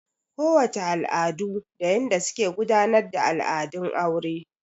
Ko wace al'adu da yanda suke gudanar da al'adun aure.